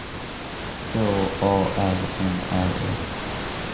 H A R N Ä S